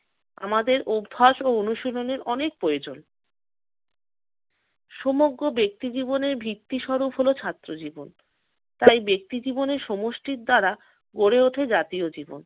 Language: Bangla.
আমাদের অভ্যাস ও অনুশীলনের অনেক প্রয়োজ। সমগ্র ব্যক্তি জীবনের ভিত্তি স্বরূপ হল ছাত্র জীবন। তাই ব্যক্তি জীবনের সমষ্টি দ্বারা গড়ে ওঠে জাতীয় জীবন।